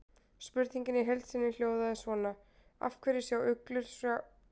Spurningin í heild sinni hljóðaði svona: Af hverju sjá uglur sjá svona vel í myrkri?